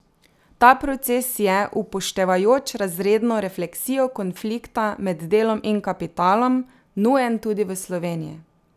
Ta proces je, upoštevajoč razredno refleksijo konflikta med delom in kapitalom, nujen tudi v Sloveniji.